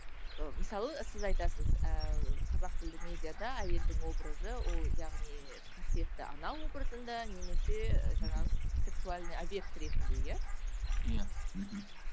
мысалы сіз айтасыз ыыы қазақ тілді медиада әйелдің образы ол яғни қасиетті ана образында немесе жаңағы сексуальный обьект ретінде иә иә мхм